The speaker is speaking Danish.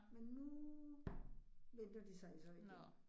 Men nu venter de sig så igen